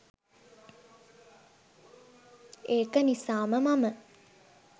ඒක නිසාම මම